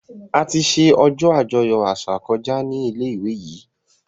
Àti ṣe ojó ajoyọ àṣà koja ní ilé ìwé yí.